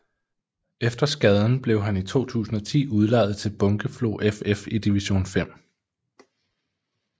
Efter skaden blev han i 2010 udlejet til Bunkeflo FF i division 5